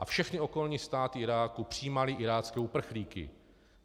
A všechny okolní státy Iráku přijímaly irácké uprchlíky.